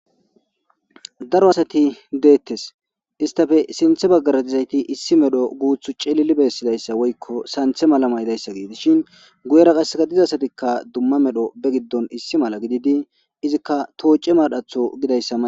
Daro asati deettes istafe sinthe baggaratizayti issi medho guuthu ceelili beessidayssa woykko santhe mala maydayssa geedes shin guyera qasseka dizasatikka dumma medho be giddon issi mala gididi izikka toocce madhatho gidayssama.